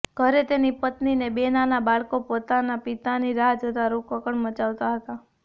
ઘરે તેની પત્નીને બે નાના બાળકો પોતાના પિતાની રાહ જોતા રોકકળ મચાવતા હતા